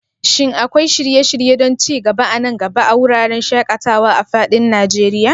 Shin akwai shirye-shirye don ci gaba a nan gaba a wuraren shaƙatawa a fadin Najeriya?